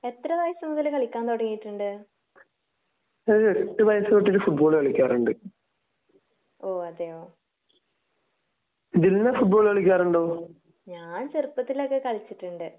എത്ര വയസ്സ് മുതൽ കളിക്കാൻ തുടങ്ങിയിട്ടുണ്ട്? . ഓഹ് അതെയോ ഞാൻ ചെറുപ്പത്തിൽ ഒക്കെ കളിച്ചിട്ടുണ്ട്